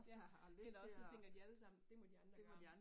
Ja. Eller også så tænker de alle sammen det må de andre om